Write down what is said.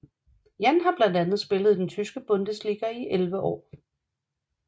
Jann har blandt andet spillet i den Tyske Bundesliga i 11 år